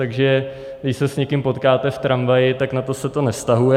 Takže když se s někým potkáte v tramvaji, tak na to se to nevztahuje.